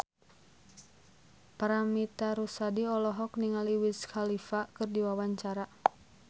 Paramitha Rusady olohok ningali Wiz Khalifa keur diwawancara